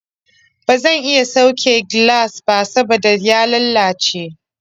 Ba zan iya sauke gilas ba saboda ya lalace.